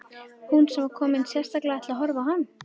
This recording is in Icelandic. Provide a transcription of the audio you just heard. Hún sem var komin sérstaklega til að horfa á hann!